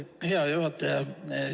Hea juhataja!